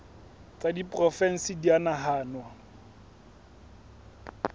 tsa diporofensi di a nahanwa